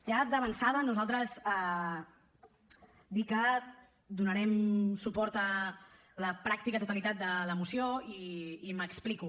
ja d’avançada nosaltres dir que donarem suport a la pràctica totalitat de la moció i m’explico